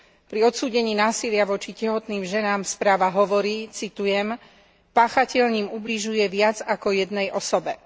Pri odsúdení násilia voči tehotným ženám správa hovorí, citujem páchateľ ním ubližuje viac ako jednej osobe.